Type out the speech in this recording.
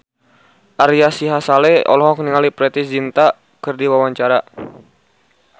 Ari Sihasale olohok ningali Preity Zinta keur diwawancara